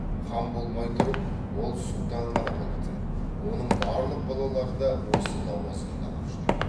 хан болмай тұрып ол сұлтан ғана болатын оның барлық балалары да осы лауазымды алып жүр